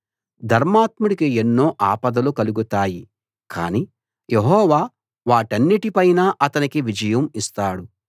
ధర్మాత్ముడికి ఎన్నో ఆపదలు కలుగుతాయి కానీ యెహోవా వాటన్నిటి పైనా అతనికి విజయం ఇస్తాడు